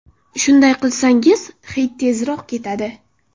Shunday qilsangiz, hid tezroq ketadi.